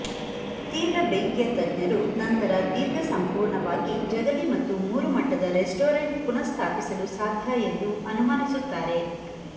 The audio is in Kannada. ತೀವ್ರ ಬೆಂಕಿಯ ತಜ್ಞರು ನಂತರ ದೀರ್ಘ ಸಂಪೂರ್ಣವಾಗಿ ಜಗಲಿ ಮತ್ತು ಮೂರು ಮಟ್ಟದ ರೆಸ್ಟೋರೆಂಟ್ ಪುನಃಸ್ಥಾಪಿಸಲು ಸಾಧ್ಯ ಎಂದು ಅನುಮಾನಿಸುತ್ತಾರೆ